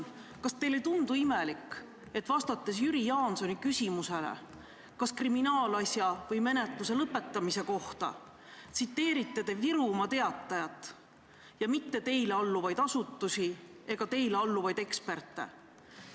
Kas teile ei tundu imelik, et vastates Jüri Jaansoni küsimusele kriminaalasja või menetluse lõpetamise kohta tsiteerite te Virumaa Teatajat, mitte teile alluvaid asutusi ega teile alluvaid eksperte?